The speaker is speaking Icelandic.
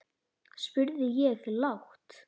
spurði ég lágt.